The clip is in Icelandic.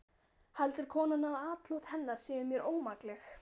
Heldur konan að atlot hennar séu mér ómakleg?